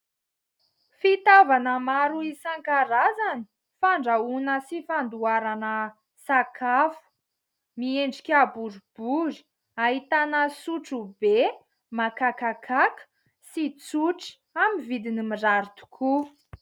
Fitaovana maro isan-karazany, fandrahoana sy fandoharana sakafo. Miendrika boribory ahitana sotro be makakakaka sy tsotro amin'ny vidiny mirary tokoa.